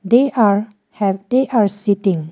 They are have they are sitting.